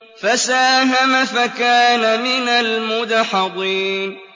فَسَاهَمَ فَكَانَ مِنَ الْمُدْحَضِينَ